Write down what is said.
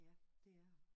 Ja det er